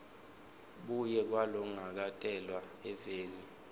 buve kwalongakatalelwa eveni